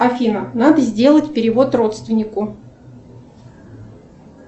афина надо сделать перевод родственнику